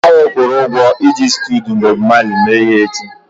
Anyị kwụrụ ụgwọ iji studio Bob Marley mee ihe echi